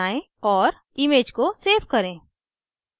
* image को save करें